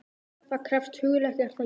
Það krefst hugrekkis, er það ekki?